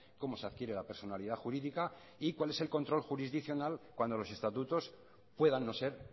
cómo se adquiere la personalidad jurídica y cuál es el control jurisdiccional cuando los estatutos puedan no ser